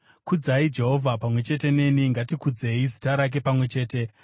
Kudzai Jehovha pamwe chete neni; ngatikudzei zita rake pamwe chete.